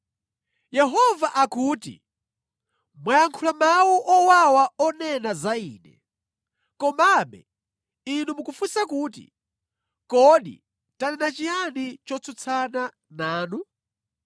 Yehova akuti, “Mwayankhula mawu owawa onena za Ine. “Komabe inu mukufunsa kuti, ‘Kodi tanena chiyani chotsutsana nanu?’